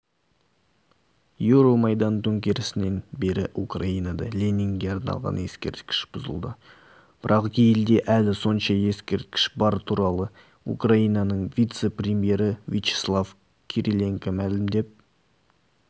еуромайдан төңкерісінен бері украинада ленинге арналған ескерткіш бұзылды бірақ елде әлі сонша ескерткіш бар бұл туралы украинаның вице-премьері вячеслав кириленко мәлімдеп